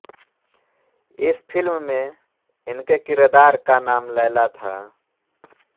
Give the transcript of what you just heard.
इस फिल्म में इनके किरदार का नाम लैला था